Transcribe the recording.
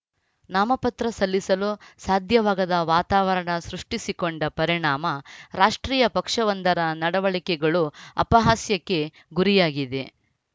ನಾಮಪತ್ರ ಸಲ್ಲಿಸಲು ಸಾಧ್ಯವಾಗದ ವಾತಾವರಣ ಸೃಷ್ಟಿಸಿಕೊಂಡ ಪರಿಣಾಮ ರಾಷ್ಟ್ರೀಯ ಪಕ್ಷವೊಂದರ ನಡವಳಿಕೆಗಳು ಅಪಹಾಸ್ಯಕ್ಕೆ ಗುರಿಯಾಗಿದೆ